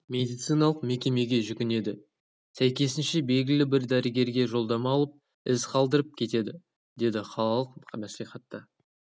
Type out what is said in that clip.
медициналық мекемеге жүгінеді сәйкесінше білгілі бір дәрігерге жолдама алып із қалдырып кетеді деді қалалық мәслихатта